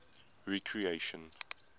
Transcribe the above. recreation